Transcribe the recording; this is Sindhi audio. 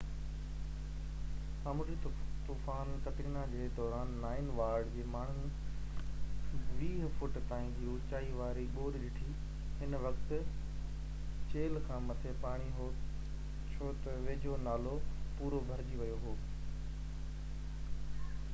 سامونڊي طوفان قطرينا جي دوران نانئن وارڊ جي ماڻهن 20 فٽن تائين جي اوچائي واري ٻوڏ ڏٺي هن وقت چيلهہ کان مٿي پاڻي هو ڇو تہ ويجهو نالو پورو ڀرجي ويو هو